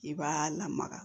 I b'a lamaga